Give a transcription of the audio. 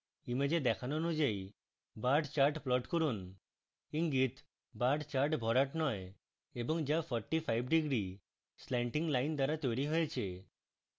image দেখানো অনুযায়ী bar chart plot করুন: